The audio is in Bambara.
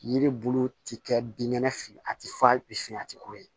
Yiri bulu tɛ kɛ binkɛnɛ fɛ a tɛ falen a tɛ ko ye